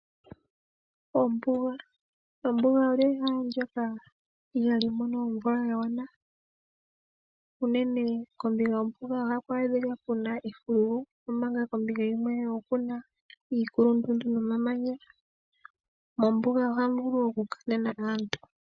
Ombuga. Ombuga olyo ehala ndjoka ihaa limono omwula ya gwana. Uunene kombinga yombuga ohaku a dhika efululu, kmanga kombinga yimwe okuna iikulundundu no mamanya. Mombuga ohamu vulu oku Kanena aantu.